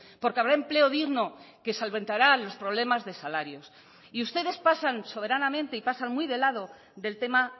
porque habrá empleo digno que solventará los problemas de salarios y ustedes pasan soberanamente y pasan muy de lado del tema